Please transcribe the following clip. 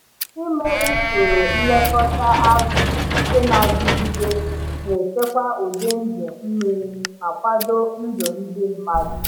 Ime usoro nlekọta azụ nke na-adịgide na-echekwa ụdị ndụ mmiri ma kwado ndụ ndị mmadụ.